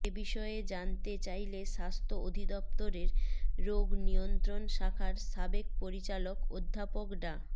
এ বিষয়ে জানতে চাইলে স্বাস্থ্য অধিদপ্তরের রোগ নিয়ন্ত্রণ শাখার সাবেক পরিচালক অধ্যাপক ডা